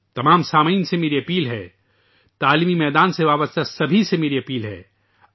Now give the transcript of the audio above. تمام سننے والوں سے میری گزارش ہے کہ تعلیم کی دنیا سے وابستہ ہر ایک سے میری درخواست ہے